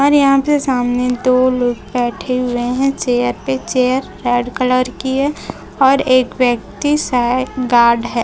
और यहां पे सामने दो लोग बैठे हुए हैं चेयर पे चेयर रेड कलर की है और एक व्यक्ति शायद गार्ड है।